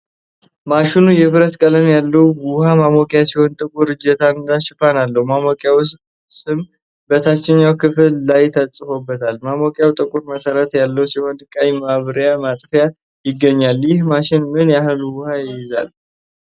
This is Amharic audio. ማሽኑ የብረት ቀለም ያለው ውሃ ማሞቂያ ሲሆን፣ ጥቁር እጀታና ሽፋን አለው። የማሞቂያው ስም በታችኛው ክፍል ላይ ተጽፎበታል። ማሞቂያው ጥቁር መሰረት ያለው ሲሆን፣ ቀይ ማብሪያ ማጥፊያ ይገኛል። ይህ ማሽን ምን ያህል ውሃ ይይዛል?